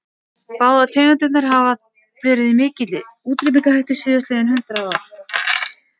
Báðar tegundirnar hafa verið í mikilli útrýmingarhættu síðastliðin hundrað ár.